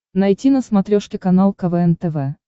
найти на смотрешке канал квн тв